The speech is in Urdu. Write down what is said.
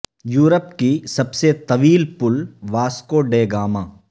یورپ کی سب سے طویل پل واسکو ڈے گاما